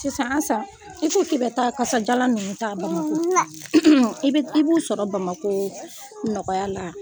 Sisan ansa i t'u ci ka taa kasajalan ninnu ta Bamakɔ la i b'u sɔrɔ Bamakɔ nɔgɔya la